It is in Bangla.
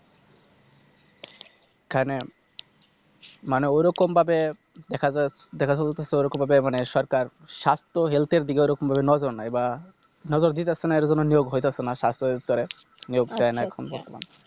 এখানে মানে ওরকম ভাবে দেখা যায় দেখা যাচ্ছে যে ওইরকম ভাবে মানে সরকার সাস্থ Helth এর দিকে ঐরকম ভাবে নজর নাই বা নজর দিচ্ছেনা এজন্য নিয়োগ হচ্ছে না সাস্থ দপ্তরে নিয়োগ হয়না এখন বর্তমানে